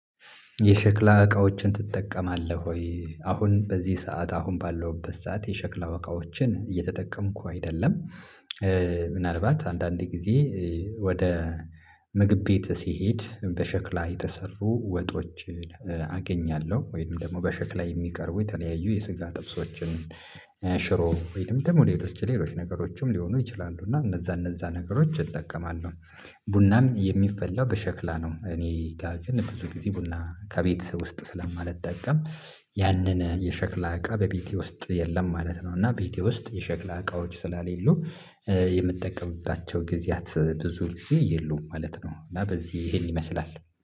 የሸክላ እቃዎችን ትጠቀማለህ ወይ? አሁን በዚህ ሰዓት አሁን ባለሁበት ሰዓት የሸክላው እቃዎችን እየተጠቀምኩ አይደለም። ምናልባት አንዳንድ ጊዜ ወደ ምግብ ቤት ሲሄድ በሸክላ የተሰሩ ወጦችን አገኛለሁ ወይም ደግሞ በሸክላ የሚቀርቡ የተለያዩ የስጋ ጥብሶችን ሽሮ ወይንም ደግሞ ሌሎች ሌሎች ነገሮችም ሊሆኑ ይችላሉ እና እነዛ እነዛ ነገሮች እጠቀማለሁ። ቡናም የሚፈላው በሸክላ ነው እኔ ጋር ግን ብዙ ጊዜ ቡና ከቤተሰብ ውስጥ ስለማልጠቀም። ያንን የሸክላ እቃ በቤቴ ውስጥ የለም ማለት ነው። እና ቤቴ ውስጥ የሸክላ እቃዎች ስላሌሉ የምጠቀምባቸው ጊዜያት ብዙ ጊዜ የሉም ማለት ነው። እና በዚህ ይሄን ይመስላል